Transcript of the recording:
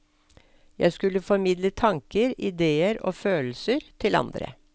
Jeg skulle formidle tanker, ideer og følelser til andre.